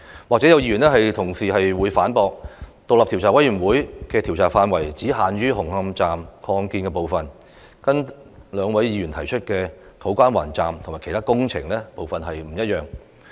也許有議員會反駁，指出獨立調查委員會的調查範圍只限於紅磡站擴建部分，有別於兩位議員提出針對土瓜灣站及其他工程進行調查。